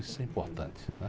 Isso é importante.